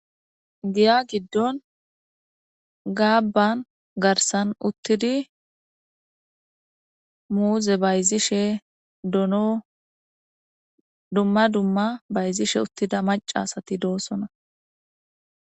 giya giddon gaabban garsan uttidi muuze bayzishe dono duma duma bayzishe uttida macasati doossona.